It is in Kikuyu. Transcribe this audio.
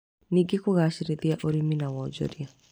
Ningĩ kũgacĩrithia ũrĩmi na wonjoria